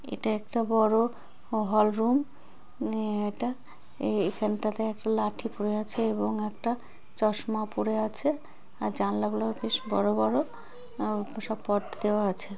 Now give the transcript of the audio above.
এটা একটা বড় হলরুম উম এটা। এ-এখানটাতে একটা লাঠি পরে আছে এবং একটা চশমা পড়ে আছে। আর জানলা গুলো বেশ বড়ো বড়ো। আহ সব পর্দা দেওয়া আছে।